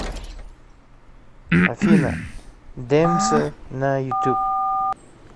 афина дэмсо на ютуб